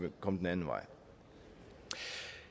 kom den anden vej